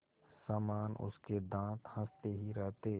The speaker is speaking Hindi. समान उसके दाँत हँसते ही रहते